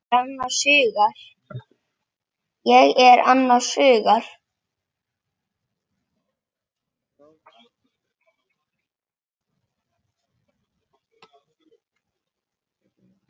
Ég er annars hugar.